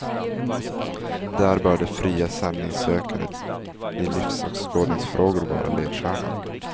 Där bör det fria sanningssökandet i livsåskådningsfrågor vara ledstjärnan.